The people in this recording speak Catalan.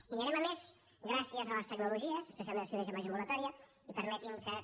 i anirem a més gràcies a les tecnologies especialment la cirurgia major ambulatòria i permetin que també